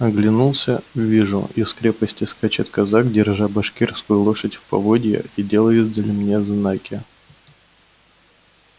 оглянулся вижу из крепости скачет казак держа башкирскую лошадь в поводья и делая издали мне знаки